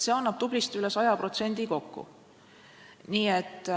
See annab kokku tublisti üle saja protsendi.